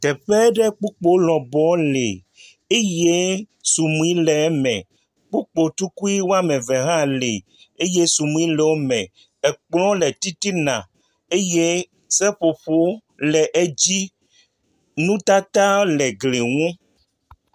Teƒe ɖe kpukpo lɔbɔ eye sudui le eme. Kpukpo tukui wòame eve hã le eye sunuie le wòme. Kplɔ le titina eye seƒoƒo le edzi. Nu tata le gli nu.